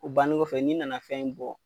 O bannen kɔfɛ n'i nana fɛn in bɔ